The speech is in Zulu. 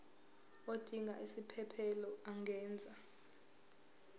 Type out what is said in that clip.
odinga isiphesphelo angenza